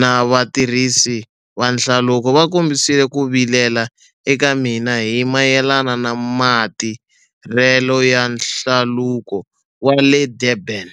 na vatirhisi va hlaluko va kombisile ku vilela eka mina hi mayelana na matirhelo ya Hlaluko wa le Durban.